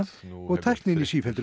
og tæknin í sífelldri